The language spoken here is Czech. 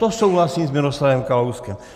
To souhlasím s Miroslavem Kalouskem.